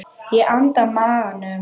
Ég anda maganum snöggt inn.